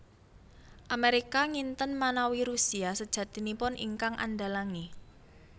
Amérika nginten manawi Rusia sajatinipun ingkang andhalangi